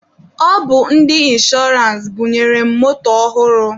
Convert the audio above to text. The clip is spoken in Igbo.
Ọ bụ ndị inshọrance bunyere m moto ọhụrụ.